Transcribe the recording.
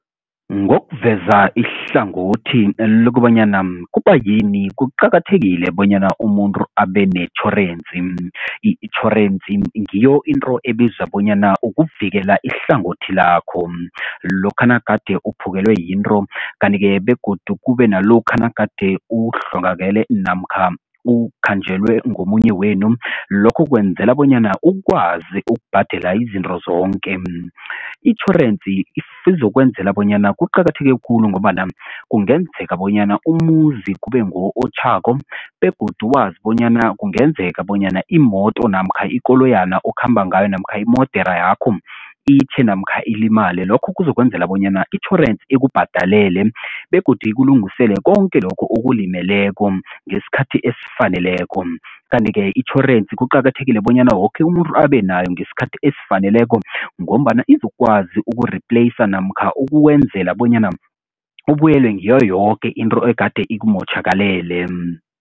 Ngokuveza ihlangothi lokobanyana kubayini kuqakathekile bonyana umuntu abe netjhorensi. Itjhorensi ngiyo into ebiza bonyana ukuvikela ihlangothi lakho, lokha nagade uphukelwe yinto kanti-ke begodu kube nalokha nagade uhlongakele namkha ukhanjelwe ngomunye wenu lokho kwenzela bonyana ukwazi ukubhadela izinto zonke. Itjhorensi izokwenzela bonyana kuqakatheke khulu ngombana kungenzeka bonyana umuzi kube nguwo otjhako begodu wazi bonyana kungenzeka bonyana imoto namkha ikoloyana okhamba ngayo namkha imodera yakho itjhe namkha ilimale lokho kuzokwenzela bonyana itjhorensi ikubhadalele begodu ikulungisele konke lokhu okulimeleko ngesikhathi esifaneleko, kanti-ke itjhorensi kuqakathekile bonyana woke umuntu abe nayo ngesikhathi esifaneleko ngombana izokwazi uku-replacer namkha ukwenzela bonyana ubuyelwe ngiyo yoke into egade ikumotjhakalele.